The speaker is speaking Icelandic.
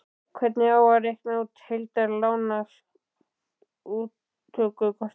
Hvernig á að reikna út heildar lántökukostnað?